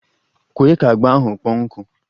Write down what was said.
Kwe ka agba ahụ kpọọ nkụ!